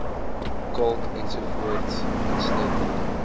kalk ens insluitende